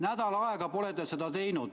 Nädal aega pole te seda teinud.